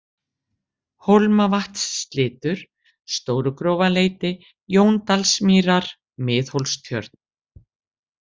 Hólmavatnsslitur, Stórugrófarleiti, Jóndalsmýrar, Miðhólstjörn